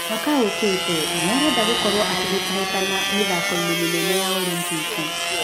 Mwaka ũũkĩte nĩarenda gũkorwo akĩhĩtahĩtana mĩthako inĩ mĩnene ya olimpiki